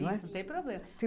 Não tem problema.